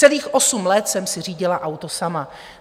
Celých osm let jsem si řídila auto sama.